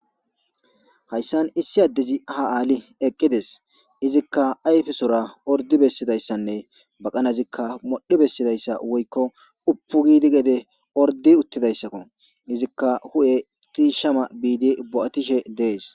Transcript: hayssan issi addezi ha aali eqqides izikka ayfesora ordi bessidayssanne baqanazikka modhi bessidayssa woykko uppu gidi gede ordi uttidayssakko izikka hu7e tiishama biidi bo7atishe dees